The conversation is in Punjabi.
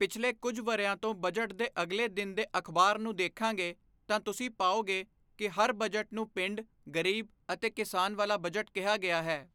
ਪਿਛਲੇ ਕੁਝ ਵਰ੍ਹਿਆਂ ਤੋਂ ਬਜਟ ਦੇ ਅਗਲੇ ਦਿਨ ਦੇ ਅਖ਼ਬਾਰ ਨੂੰ ਦੇਖਾਂਗੇ ਤਾਂ ਤੁਸੀਂ ਪਾਓਗੇ ਕਿ ਹਰ ਬਜਟ ਨੂੰ ਪਿੰਡ, ਗ਼ਰੀਬ ਅਤੇ ਕਿਸਾਨ ਵਾਲਾ ਬਜਟ ਕਿਹਾ ਗਿਆ ਹੈ।